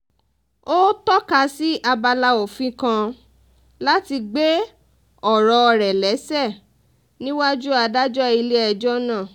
ó tọ́ka sí abala òfin kan láti gbé ọ̀rọ̀ rẹ̀ léṣe níwájú adájọ́ ilé-ẹjọ́ náà